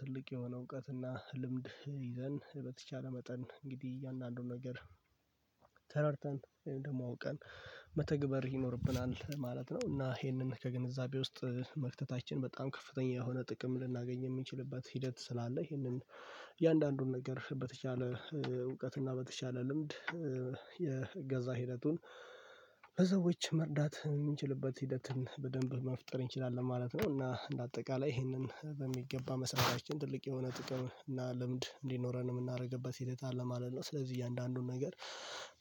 ትልቅ የሆነ እውቀትና ልምድ ይዘን በተቻለ መጠን እንግዲህ እያንዳንዱ ነገር ተረድተን ወይም ደግሞ አውቀን መተግበር ይኖርብናል ማለት ነው። እና ይሄንን ከግንዛቤ ውስጥ መክተታችን በጣም ከፍተኛ የሆነ ጥቅም ልናገኝ የምንችልበት ሂደት ስላለ ይሄንን እያንዳንዱን ነገር በተቻለ እውቀትና በተቻለ ልምድ የገዛ ሂደቱን ለሰዎች መርዳት የምንችልበት ሂደትን በደንብ መፍጠር እንችላለን ማለት ነው። እና እንደ አጠቃላይ ይሄንን በሚገባ መስራታችን ትልቅ የሆነ ጥቅም እና ልምድ እንዲኖረን የምናደርግበት ሕደት አለ ማለት ነው። ስለዚህ እያንዳንዱን ነገር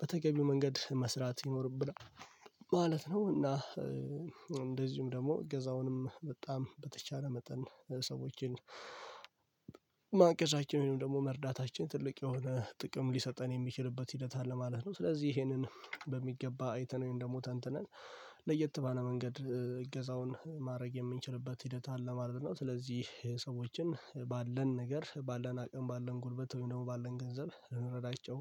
በተገቢው መንገድ መስራት ይኖርብናል ማለት ነው። እና እንደዚሁም ደግሞ እገዛውንም በጣም በተቻለ መጠን ሰዎችን ማገዛችን ወይም ደግሞ መርዳታችን ትልቅ የሆነ ጥቅም ሊሰጠን የሚችልበት ሂደት አለ ማለት ነው። ስለዚህ ይሄንን በሚገባ አይተነው ወይም ደግሞ ተንትነን ለየት ባለ መንገድ እገዛውን ማድረግ የምንችልበት ሂደት አለ ማለት ነው። ስለዚህ ሰዎችን ባለን ነገር ባለን አቅም ባለን ጉልበት ወይም ደግሞ ባለን ገንዘብ ልንረዳቸው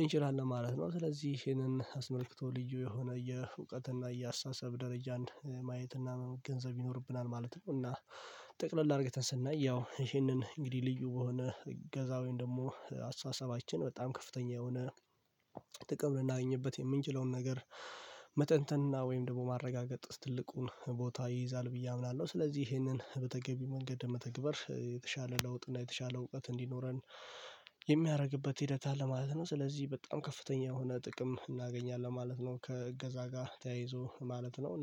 እንችላለን ማለት ነው። ስለዚህ ይሄንን አስመልክቶ ልዩ የሆነ የእውቀት እና የአስተሳሰብ ደረጃ ማየት እና ገንዘብ ይኖርብናል ማለት ነው። እና ጠቅለል አድርገን ስናይ ያው ይሄንን እንግዲህ ልዩ በሆነ እገዛ ወይም ደግሞ አስተሳሰባችን በጣም ከፍተኛ የሆነ ጥቅም ልናገኝበት የምንችለውን ነገር መተንተንና ወይም ደግሞ ማረጋገጥ ትልቁን ቦታ ይይዛል ብዬ አምናለሁ። ስለዚህ ይሄንን በተገቢ መንገድ ለመተግበር የተሻለ ለውጥ እና የተሻለ እውቀት እንዲኖረን የሚያደርግበት ሂደት አለ ማለት ነው። ስለዚህ በጣም ከፍተኛ የሆነ ጥቅም እናገኛለን ማለት ነው። ከእገዛ ጋር ተያይዞ ማለት ነው እና